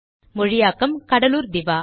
மொழியாக்கம் கடலூர் திவா